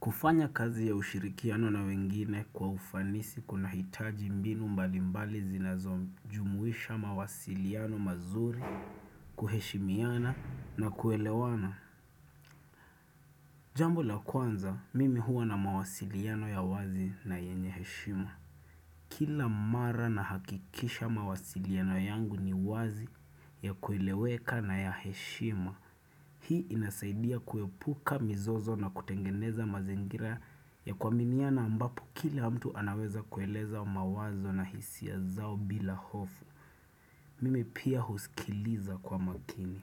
Kufanya kazi ya ushirikiano na wengine kwa ufanisi kunahitaji mbinu mbalimbali zinazojumuisha mawasiliano mazuri kuheshimiana na kuelewana. Jambo la kwanza, mimi huwa na mawasiliano ya wazi na yenye heshima. Kila mara nahakikisha mawasiliano yangu ni wazi ya kueleweka na ya heshima. Hii inasaidia kuepuka mizozo na kutengeneza mazingira ya kuaminiana ambapo kila mtu anaweza kueleza mawazo na hisia zao bila hofu. Mimi pia husikiliza kwa makini.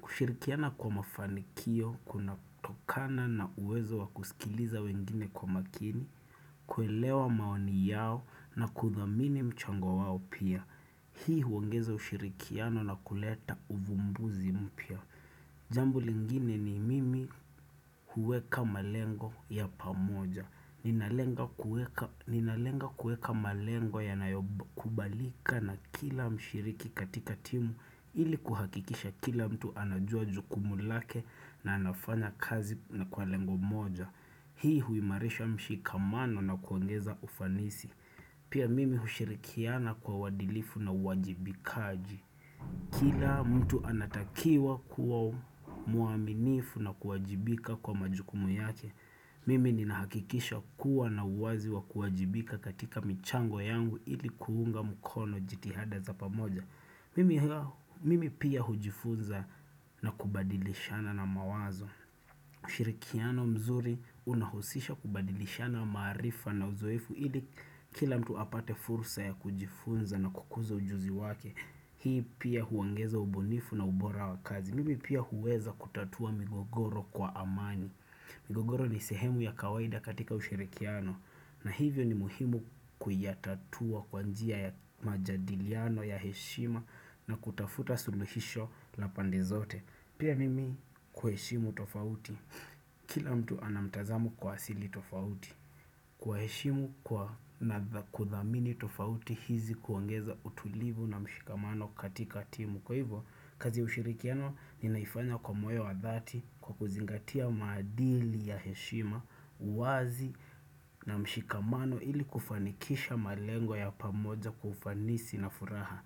Kushirikiana kwa mafanikio, kunatokana na uwezo wa kusikiliza wengine kwa makini, kuelewa maoni yao na kuthamini mchango wao pia. Hii huongeza ushirikiano na kuleta uvumbuzi mpya. Jambu lingine ni mimi huweka malengo ya pamoja. Ninalenga kuweka malengo yanayokubalika na kila mshiriki katika timu ili kuhakikisha kila mtu anajua jukumu lake na anafanya kazi na kwa lengo moja. Hii huimarisha mshikamano na kuongeza ufanisi. Pia mimi hushirikiana kwa uadilifu na wajibikaji. Kila mtu anatakiwa kuwa mwaminifu na kuwajibika kwa majukumu yake. Mimi ninahakikisha kuwa nina uwazi wa kuwajibika katika michango yangu ili kuunga mukono jitihada za pamoja. Mimi pia hujifunza na kubadilishana na mawazo. Ushirikiano mzuri unahusisha kubadilishana maarifa na uzoefu ili kila mtu apate fursa ya kujifunza na kukuza ujuzi wake. Hii pia huongeza ubunifu na ubora wa kazi. Mimi pia huweza kutatua migogoro kwa amani. Migogoro ni sehemu ya kawaida katika ushirikiano. Na hivyo ni muhimu kuyatatua kwa njia ya majadiliano ya heshima na kutafuta suluhisho la pande zote. Pia mimi kuheshimu tofauti. Kila mtu ana mtazamo kwa asili tofauti. Kuwaheshimu na kuthamini tofauti hizi kuongeza utulivu na mshikamano katika timu. Kwa hivyo, kazi ya ushirikino ninaifanya kwa moyo wa dhati kwa kuzingatia maadili ya heshima uwazi na mshikamano ili kufanikisha malengo ya pamoja kwa ufanisi na furaha.